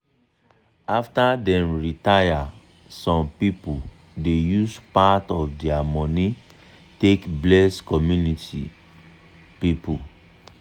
after dem retire some people dey use part of dia money take bless community take bless community people.